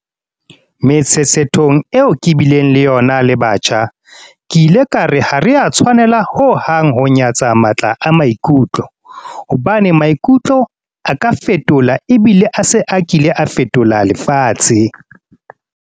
Metshetshethong eo ke bileng le yona le batjha, ke ile ka re ha re a tshwanela ho hang ho nya-tsa matla a maikutlo, hobane maikutlo a ka fetola ebile a se a kile a fetola lefatshe.